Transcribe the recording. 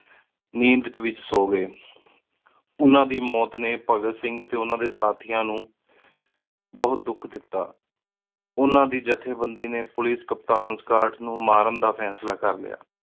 ਨੰਦ ਏਚ ਈ ਸੋ ਗਏ ਓਹਨਾ ਦੀ ਮੋਤ ਨੀ ਭਾਘਾਤ ਸਿੰਘ ਟੀ ਓਹਨਾ ਡੀ ਸਾਥਿਯਾਂ ਨੌ ਬੋਹਤ ਦੁਖ ਦਿਤਾ ਓਹਨਾ ਦੀ ਜਾਥ੍ਯ ਬੰਦੀ ਨੀ ਪੋਲਿਕੇ ਕਪਤਾਨ ਸਕਾੱਟ ਨੌ ਮਾਰਨ ਦਾ ਫੇਸਲਾ ਕਰ ਲ੍ਯ